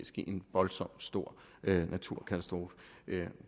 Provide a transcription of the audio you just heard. en voldsomt stor naturkatastrofe